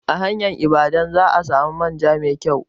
A hanyar Ibadan za ka samu manja mai kyau.